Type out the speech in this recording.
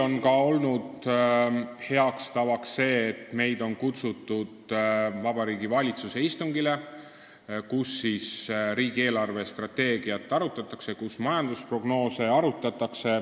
On olnud hea tava, et meid on kutsutud Vabariigi Valitsuse istungile, kus arutatakse riigi eelarvestrateegiat ja majandusprognoose.